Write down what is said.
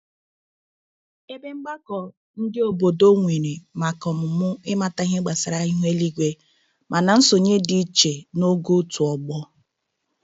Ebe mgbakọ ndị obodo nwere maka ọmụmụ ịmata ihe gbasara ihu eluigwe, mana nsonye dị iche n'ogo otu ọgbọ.